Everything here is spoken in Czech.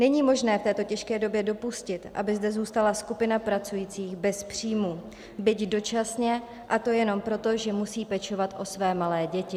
Není možné v této těžké době dopustit, aby zde zůstala skupina pracujících bez příjmů, byť dočasně, a to jenom proto, že musí pečovat o své malé děti.